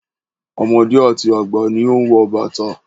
Ọmọdé àti àgbà ni ó ń wọ bàtà.